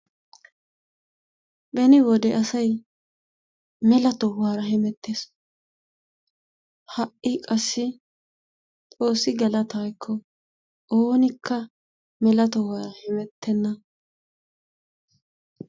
Beni wode asay mela tohuwaara hemettees. Hai wode qassi xoossi galataa ekko oonikka mela tohuwara hemettenna.